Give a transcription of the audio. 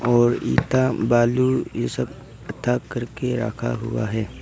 और ईटा बालू ये सब इकट्ठा करके रखा हुआ है।